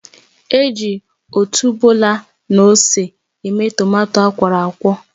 Eji otuboala na ose eme tomato akwọrọakwọ